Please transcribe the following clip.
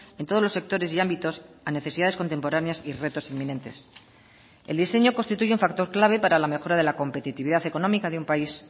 en todos los sectores y ámbitos a necesidades contemporáneas y retos inminentes el diseño constituye un factor clave para la mejora de la competitividad económica de un país